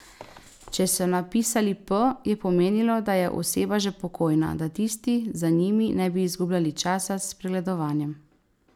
Če so napisali P, je pomenilo, da je oseba že pokojna, da tisti za njimi ne bi izgubljali časa s pregledovanjem.